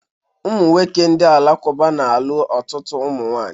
Ụmụnwoke ndị Alakụba na-alụ ọtụtụ ụmụnwaanyị.